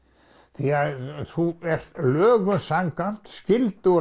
því að þú ert lögum samkvæmt skyldugur